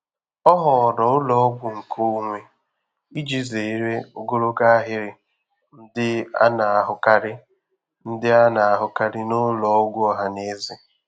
Ọ họọrọ ụlọọgwụ nkeonwe iji zere ogologo ahịrị ndị a na-ahụkarị ndị a na-ahụkarị n'ụlọ ọgwụ ọha na eze.